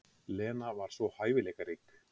Lena var svo hæfileikarík.